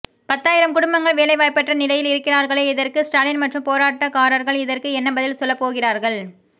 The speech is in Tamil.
பத்தாயிரம் குடும்பங்கள் வேலைவாய்ப்பற்ற நிலையில் இருக்கிறார்களே இதற்க்கு ஸ்டாலின் மற்றும் போராட்டம் காரர்கள் இதற்க்கு என்ன பதில் சொல்லப்போகிறார்கள்